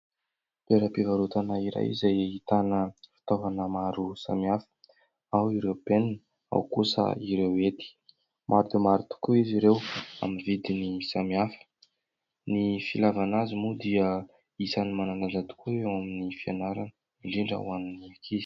Toera-pivarotana iray izay ahitana fitaovana maro samihafa ; ao ireo penina, ao kosa ireo hety maro dia maro tokoa izy ireo amin'ny vidiny samihafa, ny ilavana azy moa dia isan'ny manan-danja tokoa eo amin'ny fianarana indrindra ho an'ny ankizy.